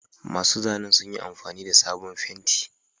Masu zanen sun yi amfani da sabon fenti.